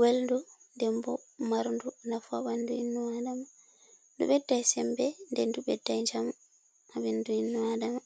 welndu, nden bo marndu nafu ha ɓandu innno Aadama, ndu ɓeddai sembe nden ndu ɓeddai djamu ha ɓandu innno Aadama.